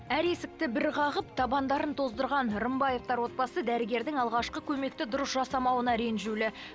әр есікті бір қағып табандарын тоздырған рымбаевтар отбасы дәрігердің алғашқы көмекті дұрыс жасамауына ренжулі